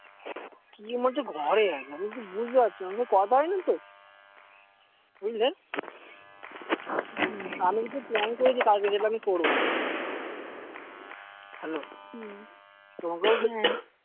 কি বলছে ঘরে আছে আমি কিছু বুঝতে পারছিনা আমার সাথে থা হয়নি তো বুঝলে হম আমি কিন্তু এর plan করে রেখেছি কালকে করব hello হম তোমাকেও হ্যাঁ